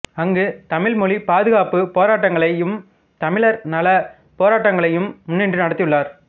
அங்கு தமிழ் மொழி பாதுகாப்பு போராட்டங்களையும் தமிழர்நலப் போராட்டங்களையும் முன்னின்று நடத்தியுள்ளார்